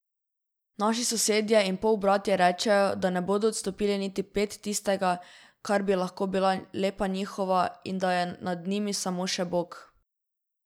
Naši sosedje in polbratje rečejo, da ne bodo odstopili niti ped tistega, kar bi lahko bila lepa njihova, in da je nad njimi samo še bog.